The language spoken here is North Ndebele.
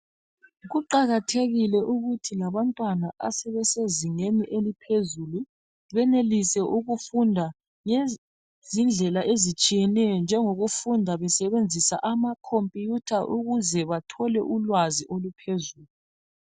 Kuqakathekile ukuthi labantwana asebesezingeni eliphezulu benelise ukufunda ngezindlela ezitshiyeneyo njengokufunda besebenzisa amakhompuyutha ukuze bathole ulwazi oluphezulu.